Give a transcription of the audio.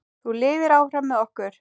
Þú lifir áfram með okkur.